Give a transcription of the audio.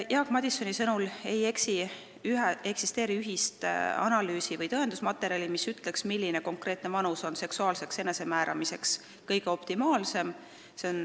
Jaak Madisoni sõnul ei eksisteeri ühest analüüsi- või tõendusmaterjali, mis ütleks, milline konkreetne vanus on seksuaalseks enesemääramiseks optimaalne.